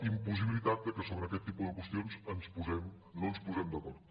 impossibilitat que sobre aquest tipus de qüestions no ens posem d’acord